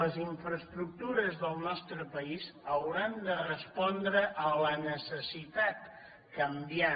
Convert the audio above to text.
les infraestructures del nostre país hauran de respondre a la necessitat canviant